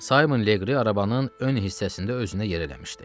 Saymon Leqri arabanın ön hissəsində özünə yer eləmişdi.